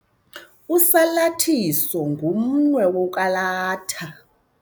Usalathiso ngumnwe wokwalatha.